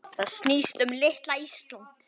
Það snýst um litla Ísland.